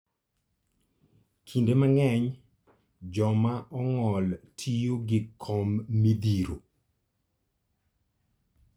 Kinde mang'eny joma ong'ol tiyo gi kom midhiro.